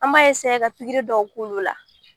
An b'a ka dɔw k'olu la